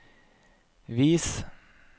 vis